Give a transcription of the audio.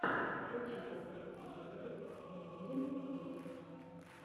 включи последний эпизод мэнирин геймс